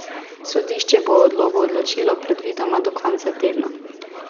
Sodišče bo o odlogu odločilo predvidoma do konca tedna.